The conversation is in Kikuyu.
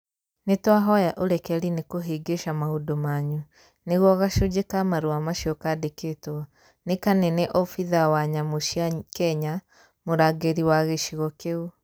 Nĩtwahoya ũrekeri nĩkũhĩngĩca maũndũ manyu, nĩguo gacunjĩ ka marũa macio kandĩkĩtwo, nĩ Kanene obitha wa nyamũ cia Kenya, Mũrangĩri wa Gĩcigo kĩu.